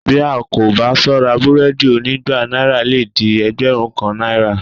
Bí a kò bá sọ́ra búrẹ́ẹ́dì onígba náírà lè di ẹgbẹ̀rún kan náírà